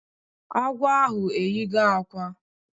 Agwọ ahụ eyigo akwa